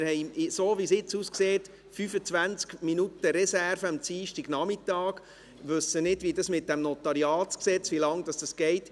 So wie es jetzt aussieht, haben wir 25 Minuten Reserve am Dienstagnachmittag und wissen nicht, wie lange es mit dem Notariatsgesetz (NG) dauern wird.